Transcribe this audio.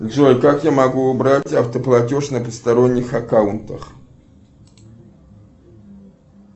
джой как я могу убрать автоплатеж на посторонних аккаунтах